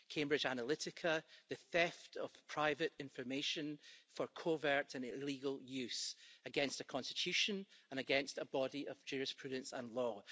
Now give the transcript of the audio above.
Cambridge Analytica, the theft of private information for covert and illegal use against a constitution and against a body of jurisprudence and law.